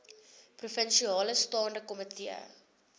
provinsiale staande komitee